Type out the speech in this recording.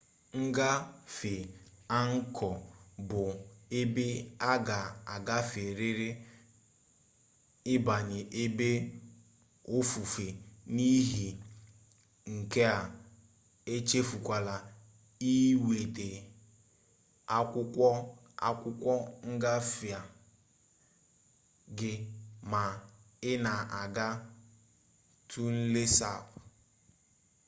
ngafe angkọ bụ ebe a ga agaferịrị ịbanye ebe ofufe n'ihi nke a echefukwala iweta akwụkwọ akwụkwọ ngafe gị ma ị na-aga tonle sap